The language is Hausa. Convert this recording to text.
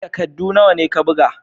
Takaddu nawa ne ka buga?l